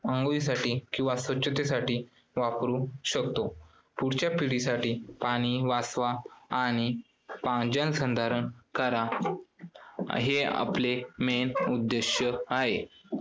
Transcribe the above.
अंघोळीसाठी किंवा स्वच्छतेसाठी वापरू शकतो. पुढच्या पिढीसाठी पाणी वाचवा आणि पा~ जलसंधारण करा हे आपले main उद्दिष्ट आहे.